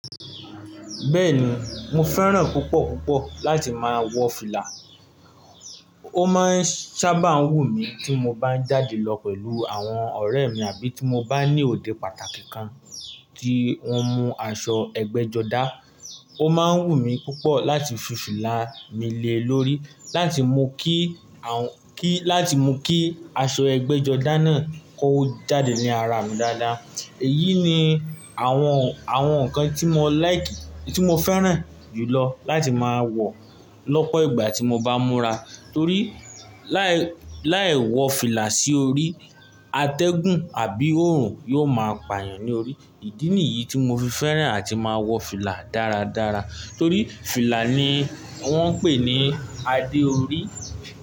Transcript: Bẹ́ẹ̀ni, mo fẹ́ràn púpọ̀ púpọ̀ láti máa wọ fìlà. Ó máa ń sábà wù mí tí mo bá ń jáde lọ pẹ̀lú àwọn ọ̀rẹ́ mi àbí tí mo bá ní òde pàtàkì kan tí wọ́n mú aṣọ ẹgbẹ́jọdá. Ó máa ń wù mí púpọ̀ láti fi fìlà mi le lórí láti mú kí àwọn kí láti mú kí aṣọ ẹgbẹ́jọdá náà kó jáde ní ara mi dáadáa. Èyí ni àwọn, àwọn nǹkan tí mo like, tí mo fẹ́ràn jùlọ láti máa wọ lọ́pọ̀ ìgbà tí mo bá n múra. Torí láì, láì wọ fìlà sí orí atẹ́gùn àbí òòrùn yóò máa pà yàn ní orí. Ìdí nìyí tí mo fi fẹ́ràn àti máa wọ fìlà dáradára. Torí fìlà ni wọ́n ń pè ní adé orí.